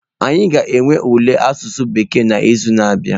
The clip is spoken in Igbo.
Anyị ga-enwe ule asụsụ Bekee n'izu na-abịa.